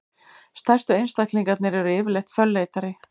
stærstu einstaklingarnir eru yfirleitt fölleitari